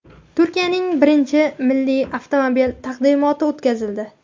Turkiyaning birinchi milliy avtomobili taqdimoti o‘tkazildi.